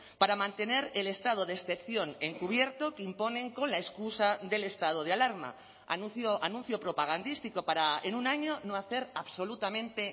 para mantener el estado de excepción encubierto que imponen con la excusa del estado de alarma anuncio propagandístico para en un año no hacer absolutamente